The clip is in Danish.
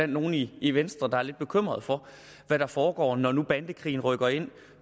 nogle i i venstre der er lidt bekymrede for hvad der foregår når nu bandekrigen rykker ind